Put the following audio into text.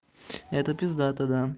это пиздато да